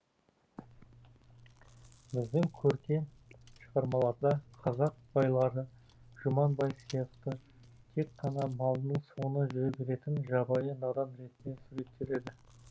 біздің көркем шығармаларда қазақ байлары жұман бай сияқты тек қана малының соңынан жүре беретін жабайы надан ретінде суреттеледі